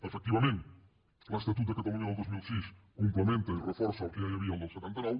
efectivament l’estatut de catalunya del dos mil sis complementa i reforça el que ja hi havia el del setanta nou